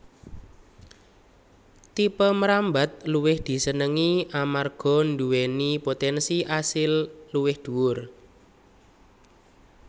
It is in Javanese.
Tipe mrambat luwih disenengi amarga nduwèni potènsi asil luwih dhuwur